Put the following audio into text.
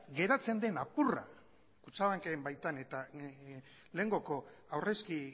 geratzen den apurra kutxabanken baitan eta lehengoko aurrezki